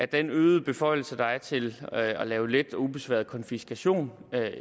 den øgede beføjelse der er til at lave let og ubesværet konfiskation